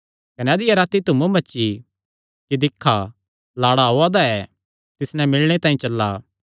कने अधिया राती धूम मची कि दिक्खा लाड़ा ओआ दा ऐ तिस नैं मिलणे तांई चला